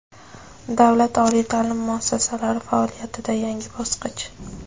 Davlat oliy taʼlim muassasalari faoliyatida yangi bosqich.